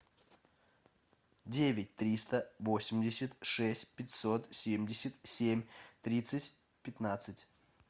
девять триста восемьдесят шесть пятьсот семьдесят семь тридцать пятнадцать